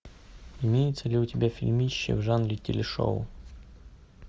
имеется ли у тебя фильмище в жанре телешоу